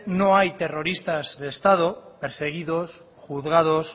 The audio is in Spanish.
no hay terroristas de estado perseguidos juzgados